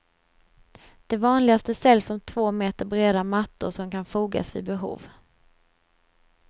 De vanligaste säljs som två meter breda mattor som kan fogas vid behov.